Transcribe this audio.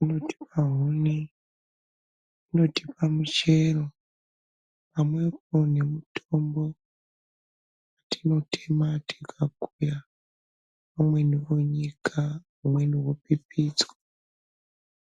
unotipa huni unotipa muchero pamwepo nemutombo. Tinotema tikakuya amweni onyika amweni opipidzwa.